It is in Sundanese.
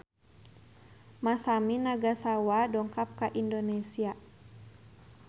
Masami Nagasawa dongkap ka Indonesia